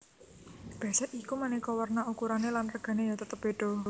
Bésék iku manéka werna ukurané lan regané ya tetep bédha